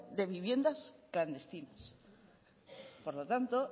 de viviendas clandestinas por lo tanto